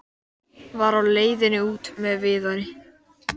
Var á leiðinni út með Viðari.